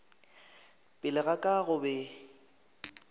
pele ga ka go be